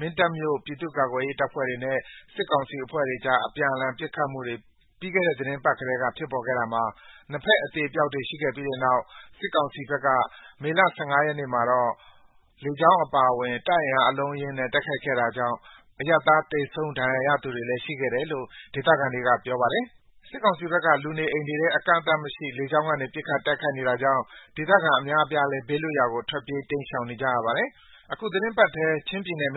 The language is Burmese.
မင်းတပ်မြို့ ပြည်သူ့ကာကွယ်ရေးအဖွဲ့တွေနဲ့ စစ်ကောင်စီ တပ်ဖွဲ့တွေအကြား အပြန်အလှန် ပစ်ခတ်မှုတွေ ပြီးခဲ့တဲ့ သီတင်းပတ်ကတည်းက ဖြစ်ပေါ်နေခဲ့တာမှာ နှစ်ဖက် အသေအပျောက်တွေ ရှိခဲ့ပြီးတဲ့နောက် စစ်ကောင်စီဘက်က မနေ့ မေလ ၁၅ ရက်နေ့မှာတော့ လေကြောင်းအပါအဝင် တပ်အင်အား အလုံးအရင်းနဲ့ တိုက်ခိုက်ခဲ့တာကြောင့် အရပ်သား သေဆုံး၊ ဒဏ်ရာရသူတွေလည်း ရှိခဲ့တယ်လို့ ဒေသခံတွေက ပြောပါတယ်။ စစ်ကောင်စီဘက်က လူနေအိမ်တွေထဲ အကန့်အသတ်မရှိ လေကြောင်းကနေ ပစ်ခတ် တိုက်ခိုက်နေတာကြောင့် ဒေသခံအများအပြားလည်း ဘေးလွတ်ရာကို ထွက်ပြေး တိမ်းရှောင်နေကြရပါတယ်။ တချိန်တည်းမှာပဲ ချင်းပြည်နယ်မ